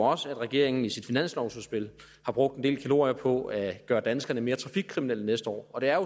også at regeringen i sit finanslovsudspil har brugt en del kalorier på at gøre danskerne mere trafikkriminelle næste år og det er